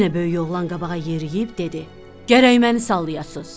Yenə böyük oğlan qabağa yeriyib dedi: Gərək məni sallayasız.